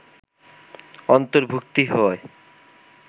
অর্ন্তভুক্তি হয়